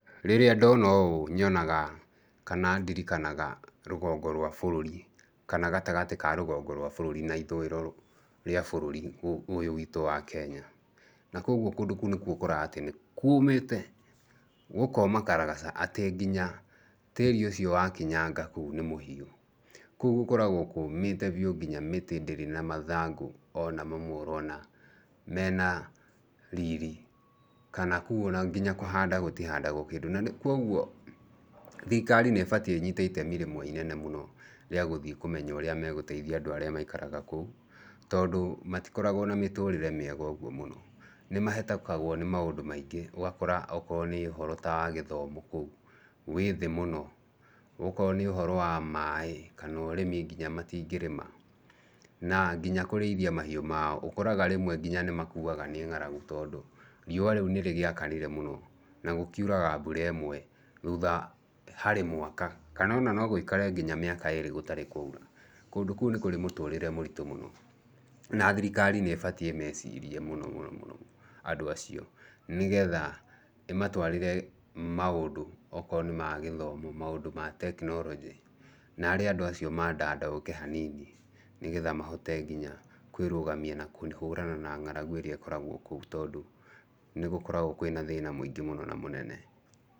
Rĩrĩa ndona ũũ nyonaga kana ndirikanaga rũgongo rwa bũruri, kana gatagatĩ ka rũgongo rwa bũrũri na ithũiro rĩa bũrũri ũyũ witũ wa Kenya. Na kũoguo kũndũ kũu nĩkuo ũkoraga atĩ nĩ kíũũmĩte! Gũkoma karagaca atĩ nginya tĩĩri ũcio wakinyanga kũu ni mũhiũ. Kũu gũkoragwo kũũmĩte biu nginya mĩtĩ ndĩrĩ na mathangũ ona mamwe ũrona mena riri kana kũu ona kũhanda gũtihandagwo kĩndu. Na kũoguo thirikari nĩ ĩbatie ĩnyiite itemi rĩmwe inene mũno rĩa gũthiĩ kũmenya ũrĩa megũteithia andũ arĩa maikaraga kũu. tondũ matikoragwo na mĩtũrĩre mĩega ũguo mũno. Nĩ mahetũkagwo nĩ maũndũ maingĩ. Ũgakora o korwo ni ũhoro ta wa githomo kũu, wĩ thĩ mũno. O korwo nĩ ũhoro wa maaĩ, kana ũrimi nginya matingĩrĩma. Na nginya kũrĩithia mahiũ mao ũkoraga rĩmwe nginya nĩmakuaga nĩ ngaragu tondũ, riũa rĩu nĩ rĩgĩakanire mũno. Na gũkiuraga mbura ĩmwe hari mwaka kana ona no gũikare nginya mĩaka ĩrĩ gũtarĩ kũraura. Kũndũ kũu nĩ kũrĩ mũtũrĩre mũritu mũno. Na thirikari nĩ ĩbatiĩ ĩmecirie mũno mũno mũno andũ acio. Nĩ getha ĩmatwarĩre maũndũ o korwo nĩ ma gĩthomo, maũndũ ma tekinoronjĩ, naarĩ andũ acio maandanduke hanini ni getha mahote nginya kwĩrũgamia na kũhũrana na ngaragu irĩa ikoragwo kũu tondũ nĩgũkoragwo kwĩna thĩna mũingĩ mũno na mũnene.